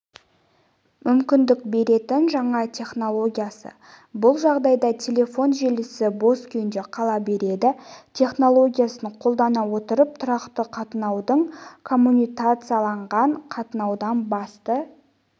мүмкіндік беретін жаңа технология бұл жағдайда телефон желісі бос күйінде қала береді технологиясын қолдана отырып тұрақты қатынаудың коммутацияланған қатынаудан басты